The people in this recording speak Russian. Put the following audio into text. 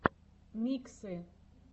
миксы